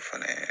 O fɛnɛ